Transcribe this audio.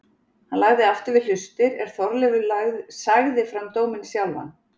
Hann lagði aftur við hlustir er Þorleifur sagði fram dóminn sjálfan